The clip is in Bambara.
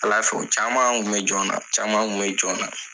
Ala fɛ u caman tun bɛ jɔn na ,caman tun bɛ jɔn na!